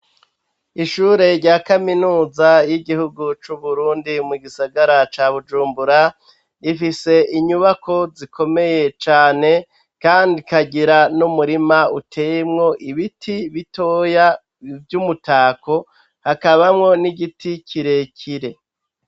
Ishure rya kaminuza y'igihugu c'uburundi mu gisagara ca bujumbura rifise inyubako zikomeye cane, kandi kagira n'umurima utemwo ibiti bitoya vy'umutako hakabamwo n'igiti kirekire.